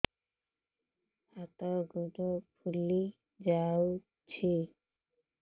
ହାତ ଗୋଡ଼ ଫୁଲି ଯାଉଛି